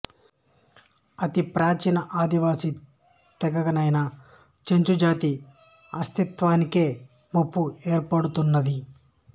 అతి ప్రాచీన ఆదివాసి తెగయైన చెంచు జాతి అస్తిత్వానికే ముప్పు ఏర్పడుతున్నది